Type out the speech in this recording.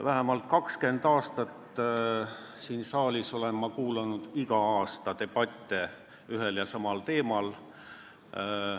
Vähemalt 20 aastat olen ma siin saalis igal aastal kuulanud debatte ühel ja samal teemal.